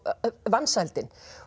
vansældin